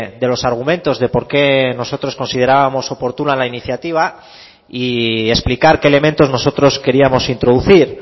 de los argumentos de por qué nosotros considerábamos oportuna la iniciativa y explicar qué elementos nosotros queríamos introducir